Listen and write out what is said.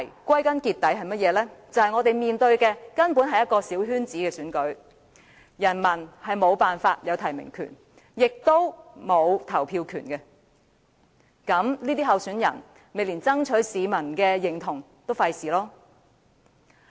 歸根究底，問題是我們面對的根本是一場小圈子選舉，市民無法取得提名權，也沒有投票權，所以，這些參選人也懶得爭取市民的支持。